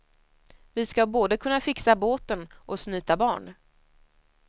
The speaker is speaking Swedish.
Vi ska både kunna fixa båten och snyta barn.